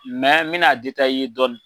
n mɛna i ye dɔɔni.